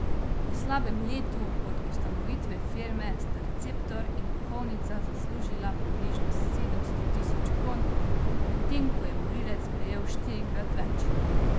V slabem letu od ustanovitve firme sta receptor in duhovnica zaslužila približno sedemsto tisoč kron, medtem ko je morilec prejel štirikrat več.